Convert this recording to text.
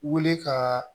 Wele ka